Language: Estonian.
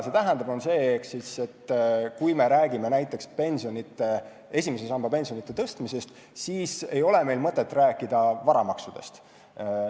See tähendab, et kui me räägime näiteks esimese samba pensioni tõstmisest, siis ei ole meil mõtet rääkida varamaksudest.